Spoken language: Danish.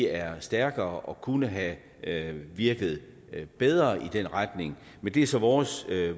er stærkere og kunne have have virket bedre i den retning men det er så vores